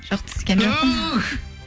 жоқ түскен жоқпын туф